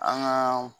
An ka